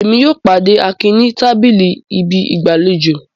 Émi yóò pàde Akin ni tabili ibi igbalejo